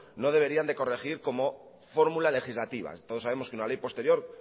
no debería de corregir como fórmula legislativa todos sabemos que una ley posterior